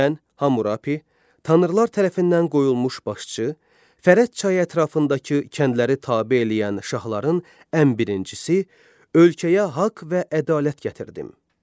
Mən Hamurapi, tanrılar tərəfindən qoyulmuş başçı, Fərəd çayı ətrafındakı kəndləri tabe eləyən şahların ən birincisi, ölkəyə haqq və ədalət gətirdim.